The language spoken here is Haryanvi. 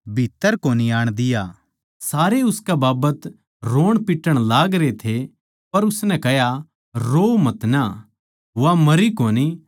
सारे उसकै बाबत रोणपिट्टण लागरे थे पर उसनै कह्या रोओ मतना वा मरी कोनी पर सोवै सै